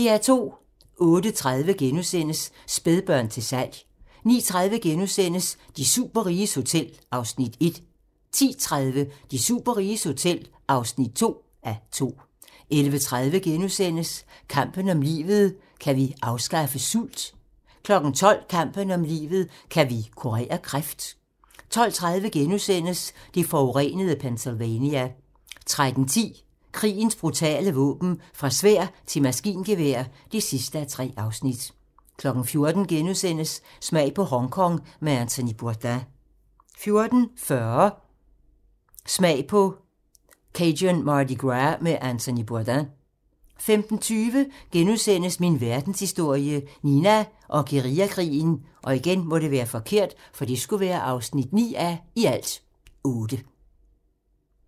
08:30: Spædbørn til salg * 09:30: De superriges hotel (1:2)* 10:30: De superriges hotel (2:2) 11:30: Kampen om livet - kan vi afskaffe sult? * 12:00: Kampen om livet - kan vi kurere kræft? 12:30: Det forurenede Pennsylvania * 13:10: Krigens brutale våben - Fra sværd til maskingevær (3:3) 14:00: Smag på Hongkong med Anthony Bourdain * 14:40: Smag på Cajun Mardi Gras med Anthony Bourdain 15:20: Min verdenshistorie - Nina og guerillakrigen (9:8)*